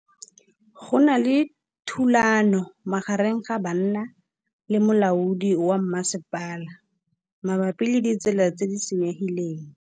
Go na le thulanô magareng ga banna le molaodi wa masepala mabapi le ditsela tse di senyegileng.